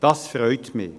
Das freut mich.